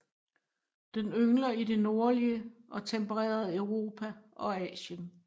Den yngler i det nordlige og tempererede Europa og Asien